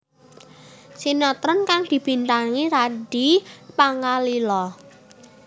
Sinetron kang dibintangi Randy Pangalila